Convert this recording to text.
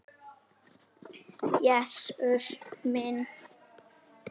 Jesús minn!